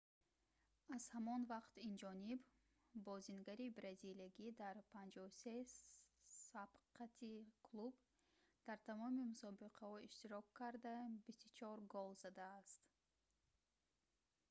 аз ҳамон вақт инҷониб бозингари бразилиягӣ дар 53 сабқати клуб дар тамоми мусобиқаҳо иштирок карда 24 гол задааст